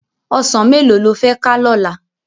Òsán méló ló fè ká lòlá?